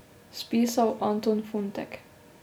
Spisal Anton Funtek.